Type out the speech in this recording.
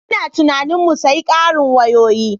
Ina tunanin mu sayen ƙarin wayoyi.